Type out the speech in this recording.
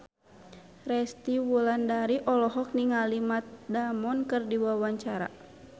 Resty Wulandari olohok ningali Matt Damon keur diwawancara